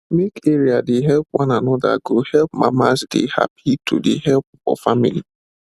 make area dey help one another go help mamas dey happy to dey help for family